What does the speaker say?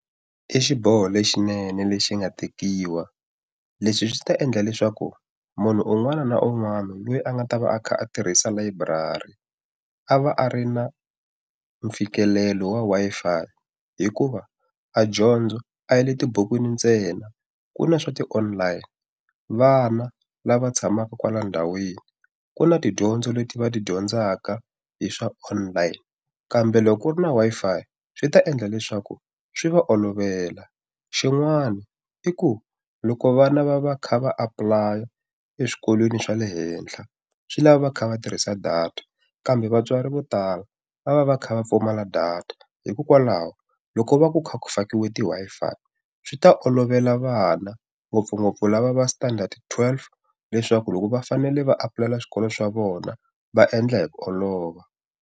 I xiboho lexinene lexi nga tekiwa leswi swi ta endla leswaku munhu un'wana na un'wana loyi a nga ta va a kha a tirhisa layiburari a va a ri na mfikelelo wa Wi-Fi hikuva a dyondzo a yi le tibukwini ntsena ku na swa ti-online vana lava tshamaka kwala ndhawini ku na tidyondzo leti va ti dyondzaka hi swa online kambe loko ri na Wi-Fi swi ta endla leswaku swi va olovela xin'wana i ku loko vana va va kha va apply-a eswikolweni swa le henhla swi lava va kha va tirhisa data kambe vatswari vo tala va va va kha va pfumala data hikokwalaho loko va ku kha ku fakiwa ti Wi-Fi swi ta olovela vana ngopfungopfu lava va standard twelve leswaku loko va fanele va apply-ela swikolo swa vona va endla hi ku olova.